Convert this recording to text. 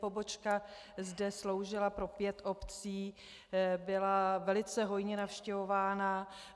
Pobočka zde sloužila pro pět obcí, byla velice hojně navštěvována.